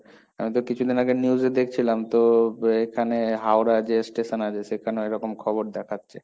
আমি তো কিছুদিন আগে news এ দেখছিলাম, তো এখানে হাওড়া যে station আছে সেখানেও এরকম খবর দেখাচ্ছে।